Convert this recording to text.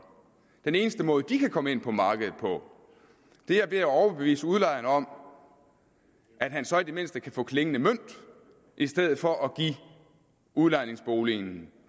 den eneste måde de kan komme ind på markedet på er ved at overbevise udlejeren om at han så i det mindste kan få klingende mønt i stedet for at give udlejningsboligen